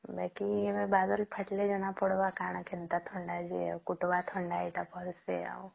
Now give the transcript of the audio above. ବାକି ବଦଳ ଫଟାଇଲେ ଜଣ ପଡିବ କଣ କେନ୍ତା ଥଣ୍ଡା ଏଠି ପଡୁଛି ଆଉ